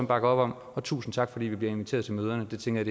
bakker op om og tusind tak fordi vi bliver inviteret til møderne det tænker